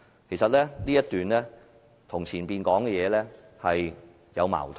其實，這一段與前文所述頻有矛盾。